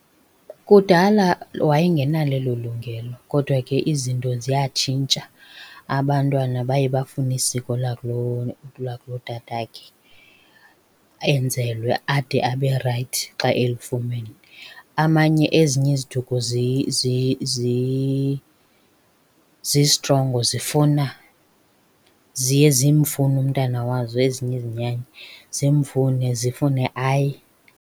Kudala wayengenalo elo lungelo kodwa ke izinto ziyatshintsha, abantwana baye bafune isiko lakulo lakulotatakhe. Enzelwe ade abe rayithi xa elifumene. Amanye ezinye iziduko zisitrongo zifuna, ziye zimfune umntwana wazo ezinye izinyanya. Zimfune zifune aye.